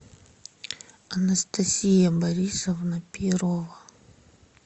анастасия борисовна перова